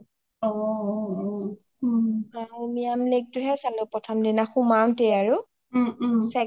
Umiam lake টোয়ে হে চালো প্ৰথম দিনা সোমাওটেই আৰু